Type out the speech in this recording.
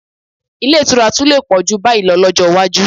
Ilé ìtura tún lè pọ̀ jù báyìí lọ lọ́jọ́ iwájú